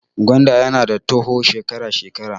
Gwanda ya na toho shekara shekara